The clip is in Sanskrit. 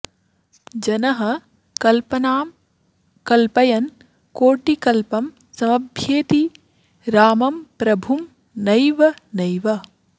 जनः कल्पनां कल्पयन् कोटिकल्पं समभ्येति रामं प्रभुं नैव नैव